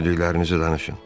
Gördüklərinizi danışın.